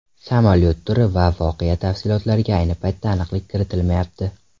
Samolyot turi va voqea tafsilotlariga ayni paytda aniqlik kiritilmayapti.